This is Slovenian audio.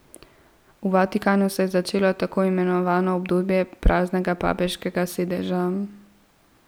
V Vatikanu se je začelo tako imenovano obdobje praznega papeškega sedeža.